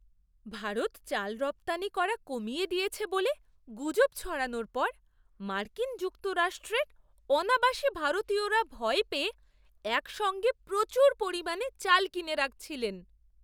ভারত চাল রপ্তানি করা কমিয়ে দিয়েছে বলে গুজব ছড়ানোর পর মার্কিন যুক্তরাষ্ট্রের অনাবাসী ভারতীয়রা ভয় পেয়ে একসঙ্গে প্রচুর পরিমাণে চাল কিনে রাখছিলেন।